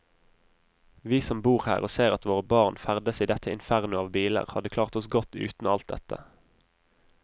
Vi som bor her og ser at våre barn ferdes i dette inferno av biler, hadde klart oss godt uten alt dette.